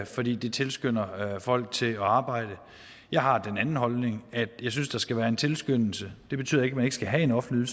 fordi det tilskynder folk til at arbejde jeg har den anden holdning at jeg synes der skal være en tilskyndelse det betyder ikke at man ikke skal have en offentlig